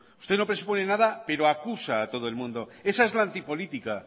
usted no presupone nada pero acusa a todo el mundo esa es la antipolítica